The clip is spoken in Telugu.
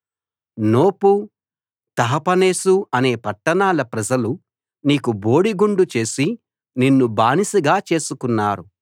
నోపు తహపనేసు అనే పట్టణాల ప్రజలు నీకు బోడిగుండు చేసి నిన్ను బానిసగా చేసుకున్నారు